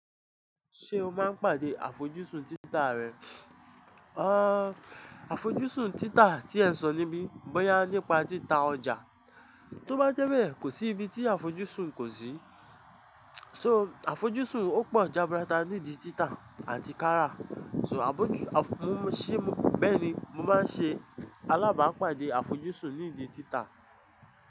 Ṣé o máa ń pàdé àfojúsùn títa rẹ? Àà, àfojúsùn títa tí ẹ sọ níbí, bóyá nípa títa ọjà, tó bá jẹ́ bẹ́ẹ̀ kò sí ibi tí àfojúsùn kò sí. So àfojúsùn ó pọ̀ jaburata nídi títa àti kárà. So àfojúsùn, ṣé bẹ́ẹ̀ ni mo máa ń ṣe alábàápàdé àfojúsùn nídi títa.